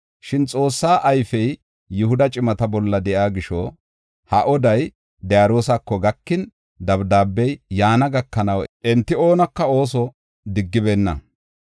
Shin Xoossa ayfey Yihuda cimata bolla de7iya gisho, ha oday Daariyosako gakin, dabdaabey yaana gakanaw enta oonika ooso digibenna.